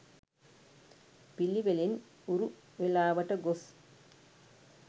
පිළිවෙලින් උරු වේලාවට ගොස්